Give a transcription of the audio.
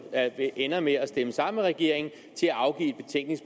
ender med at stemme sammen med regeringen til at afgive